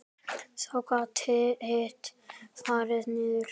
Þá gat hitt farið niður.